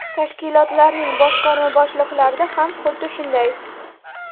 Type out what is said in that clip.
Tashkilotlarning boshqarma boshliqlarida ham xuddi shunday.